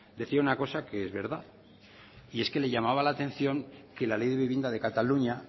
decía una cosa que es verdad y es que le llamaba la atención que la ley de vivienda de cataluña